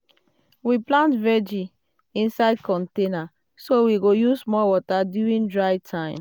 we plant vegi um inside container so we go use small water during dry time. um